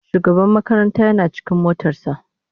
shugaban makaranta Yana cikin motar sa.